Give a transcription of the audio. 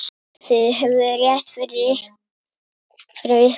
Þið höfðuð rétt fyrir ykkur.